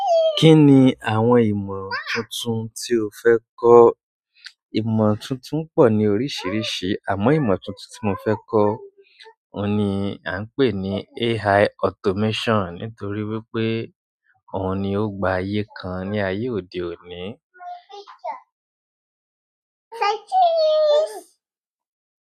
Kí ni àwọn ìmọ̀ tuntun tí o fẹ́ kọ́? Ìmọ̀ tuntun pọ̀ ní oríṣìíríṣìí àmọ́ ìmọ̀ tuntun tí mo fẹ́ kọ́ òun ni a ń pè ní AI automation nítorí wípé òun ni ó gba ayé kan ní ayé òde òní.